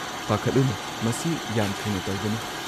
-ꯄꯥꯈꯠꯂꯨꯅꯨ, ꯃꯁꯤ ꯌꯥꯝ ꯊꯨꯅ ꯇꯧꯒꯅꯤ ꯫